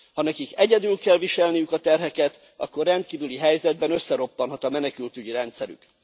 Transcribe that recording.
Ha nekik egyedül kell viselniük a terheket, akkor rendkívüli helyzetben összeroppanhat a menekültügyi rendszerük.